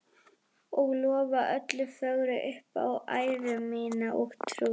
Og lofa öllu fögru upp á æru mína og trú.